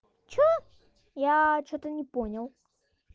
что я что-то не понял